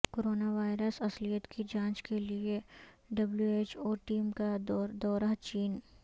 corona virus اصلیت کی جانچ کیلئے ڈبلیوایچ او ٹیم کا دورہ چین